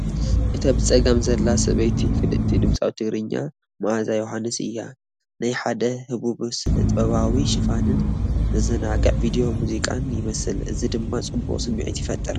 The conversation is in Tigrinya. እታ ብጸጋም ዘላ ሰበይቲ ፍልጥቲ ድምጻዊት ትግርኛ መኣዛ ዮውሃንስ እያ። ናይ ሓደ ህቡብ ስነጥበባዊ ሽፋንን ዘዘናግዕ ቪድዮ ሙዚቃን ይመስል፡ እዚ ድማ ጽቡቕ ስምዒት ይፈጥ